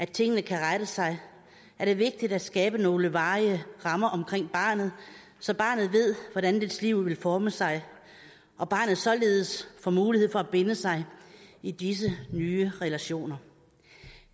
at tingene kan rette sig er det vigtigt at skabe nogle varige rammer omkring barnet så barnet ved hvordan dets liv vil forme sig og barnet således får mulighed for at binde sig i disse nye relationer